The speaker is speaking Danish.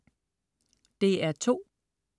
DR2: